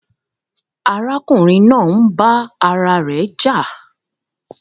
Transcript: Àrakùnrin naa ń bà ara rè jà